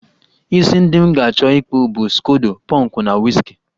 Isi ndị m ga-achọ ịkpụ bụ skodo pọnkụ na wiski